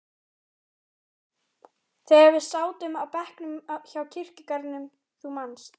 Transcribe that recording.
þegar við sátum á bekknum hjá kirkjugarðinum, þú manst.